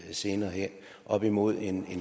senere hen op imod en